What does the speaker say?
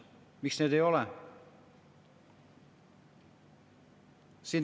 Miks seda ei ole?